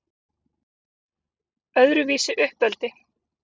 Öðruvísi uppeldi